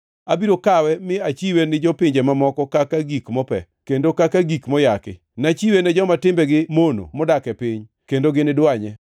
Abiro kawe mi achiwe ni jopinje mamoko kaka gik mope, kendo kaka gik moyaki, nachiwe ne joma timbegi mono modak e piny, kendo gini dwanye.